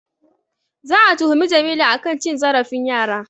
Za'a tuhumi Jamilu a kan cin zarafin yara.